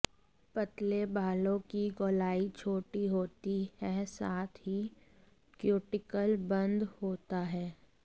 पतले बालों की गोलाई छोटी होती है साथ ही क्यूटिकल बंद होता है